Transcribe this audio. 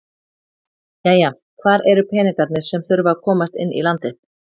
Jæja hvar eru peningarnir sem að þurfa að komast inn í landið?